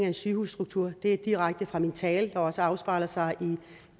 en sygehusstruktur det er taget direkte fra min tale der også afspejler sig